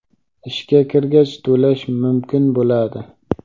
ishga kirgach to‘lash mumkin bo‘ladi.